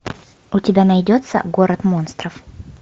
у тебя найдется город монстров